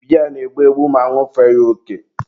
biya na-egbu egbu ma añụfee ya oke.